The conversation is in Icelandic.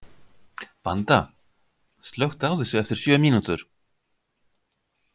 Vanda, slökktu á þessu eftir sjö mínútur.